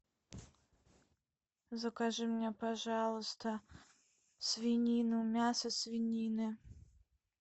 закажи мне пожалуйста свинину мясо свинины